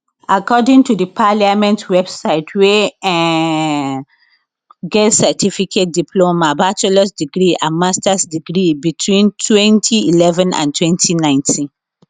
according to the parliament website were um get certificate diploma bachelors degree and masters degree between 2011 and 2019